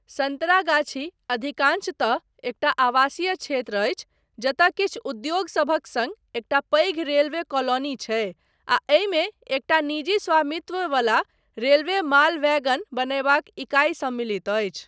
सन्तरागाछी अधिकांशतः एकटा आवासीय क्षेत्र अछि जतय किछु उद्योगसभक सङ्ग एकटा पैघ रेलवे कॉलोनी छै आ एहिमे एकटा निजी स्वामित्व वला रेलवे माल वैगन बनयबाक इकाइ सम्मिलित अछि।